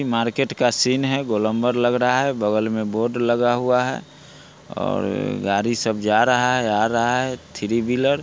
इ मार्केट का सीन है गोलंबर लग रहा है| बगल में बोर्ड लगा हुआ है और गाड़ी सब जा रहा है आ रहा है थ्री व्हीलर --